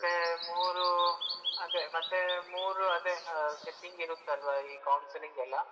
ಮತ್ತೆ ಮೂರು ಅದೆ ಮತ್ತೆ ಮೂರು setting ಇರುತ್ತಲ್ಲ ಆ counselling ಎಲ್ಲ.